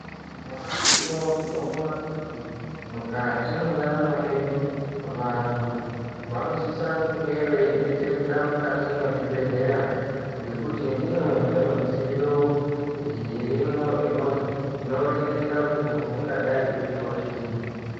Nyamashi unouyu tinoona kuti mukati mwendaramo yedu vantu vanosisa kunge veidetsereka mukati mwezvibhehlera ngekuti ndimwo mune mudziyo irimwo inoringira kuti muntu ungadai eizwa chiini.